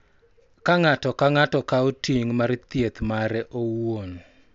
Ka ng�ato ka ng�ato kawo ting� mar thieth mare owuon,